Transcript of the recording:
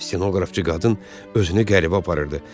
Stenoqrafçı qadın özünü qəribə aparırdı.